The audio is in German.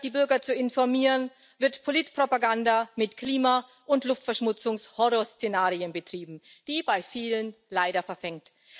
Statt die Bürger zu informieren, wird Politpropaganda mit Klima und Luftverschmutzungshorrorszenarien betrieben, die bei vielen leider verfängt.